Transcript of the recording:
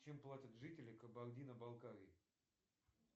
чем платят жители кабардино балкарии